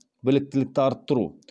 біліктілікті арттыру